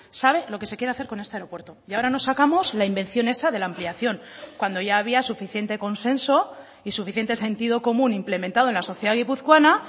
sabe lo que se quiere hacer con este aeropuerto y ahora nos sacamos la invención esa de la ampliación cuando ya había suficiente consenso y suficiente sentido común implementado en la sociedad guipuzcoana